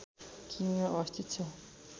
किमीमा अवस्थित छ